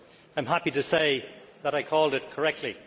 I am happy to say that I called it correctly.